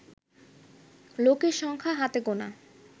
লোকের সংখ্যা হাতে গোনা